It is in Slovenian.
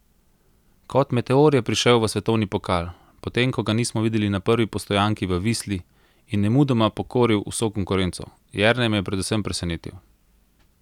Kot meteor je prišel v svetovni pokal, potem ko ga nismo videli na prvi postojanki v Visli, in nemudoma pokoril vso konkurenco: "Jernej me je predvsem presenetil.